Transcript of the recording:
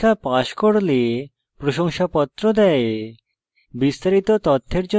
online পরীক্ষা pass করলে প্রশংসাপত্র দেয়